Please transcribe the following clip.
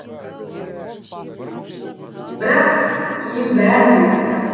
бірақ кейін бәрін де тастадым